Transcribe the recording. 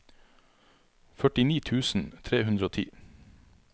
førtini tusen tre hundre og ti